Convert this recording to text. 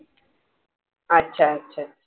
अच्छा अच्छा